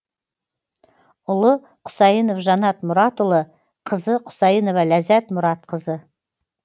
ұлы құсайынов жанат мұратұлы қызы құсайынова ләззат мұратқызы